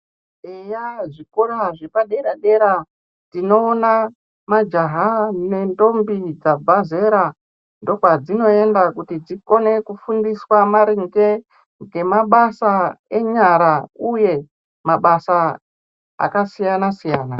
Eya zvikora zvepa dera dera tinoona majaha ne ndombi dzabva zera ndo kwadzino enda kuti dzione ku fundiswa maringe nge mabasa enyara uye mabasa aka siyana siyana.